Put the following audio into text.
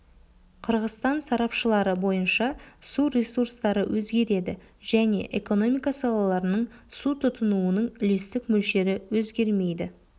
қырғызстан сарапшылары бойынша су ресурстары өзгереді және экономика салаларының су тұтынуының үлестік мөлшері өзгермейді